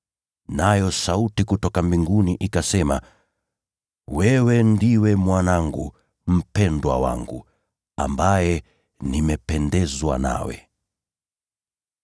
Nayo sauti kutoka mbinguni ikasema, “Wewe ni Mwanangu mpendwa; nami nimependezwa nawe sana.”